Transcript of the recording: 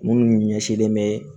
Minnu ɲɛsinlen bɛ